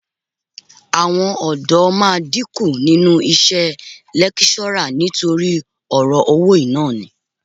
Àwọn ọ̀dọ́ máa dínkù nínú iṣẹ́ lẹ́kíṣọ́rà nítorí ọ̀rọ̀ owó yìí náà ni